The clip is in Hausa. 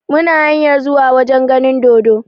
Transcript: Muna hanyar zuwa wajen ganin dodo.